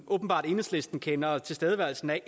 enhedslisten åbenbart kender tilstedeværelsen af